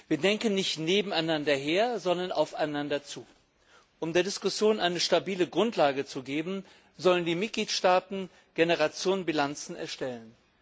Wir denken nicht nebeneinander her, sondern aufeinander zu. Um der Diskussion eine stabile Grundlage zu geben, sollen die Mitgliedstaaten Generationenbilanzen erstellen.